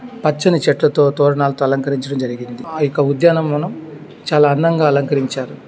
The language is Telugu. పచ్చని చెట్లతో తోరణాలతో అలంకరించడం జరిగింది. ఇక ఉద్యానవనం చాలా అందంగా అలంకరించారు.